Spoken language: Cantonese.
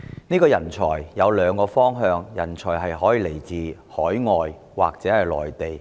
所謂人才，有兩個來源：來自海外或內地。